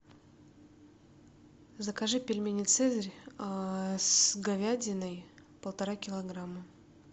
закажи пельмени цезарь с говядиной полтора килограмма